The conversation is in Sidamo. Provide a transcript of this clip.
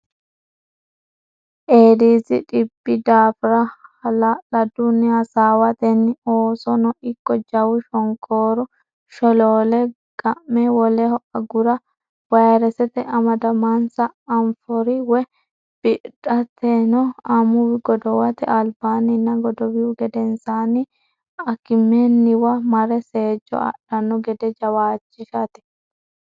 Eedisi dhibbi daafira hala ladunni hasaawatenni oosono ikko jawu shonkoora sholoole ga me woleho agura vayresete amdamansa anfori woy bidhatino amuwi godowate albaanninna godowihu gedensaanni akimenniwa mare seejjo adhanno gede jawaachishate.